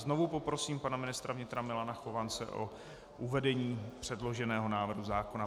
Znovu poprosím pana ministra vnitra Milana Chovance o uvedení předloženého návrhu zákona.